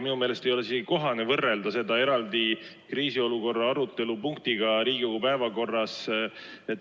Minu meelest ei ole isegi kohane võrrelda seda eraldi kriisiolukorra arutelu punktiga Riigikogu päevakorras.